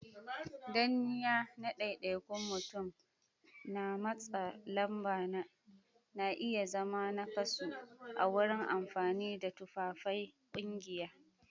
Danniya na daidaikun mutum da matsa lamba na iya zama nakasu a wurin amfani da tufafain kungiya